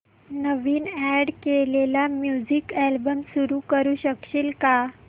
नवीन add केलेला music album सुरू करू शकशील का